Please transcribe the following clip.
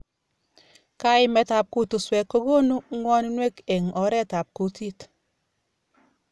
Kaimet ab kutuswek kokunu ng'wonwek eng oret ab kutit.